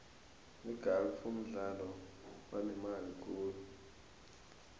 igalfu mdlalo onemali khulu